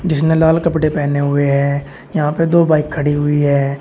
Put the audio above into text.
इसने लाल कपड़े पहने हुए हैं यहां पे दो बाइक खड़ी हुई है।